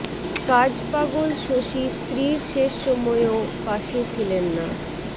কাজ পাগল শশী স্ত্রীর শেষ সময়ও পাশে ছিলেন না